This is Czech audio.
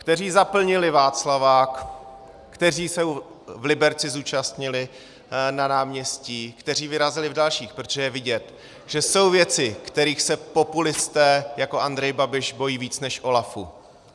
Kteří zaplnili Václavák, kteří se v Liberci zúčastnili na náměstí, kteří vyrazili v dalších, protože je vidět, že jsou věci, kterých se populisté jako Andrej Babiš bojí víc než OLAFu.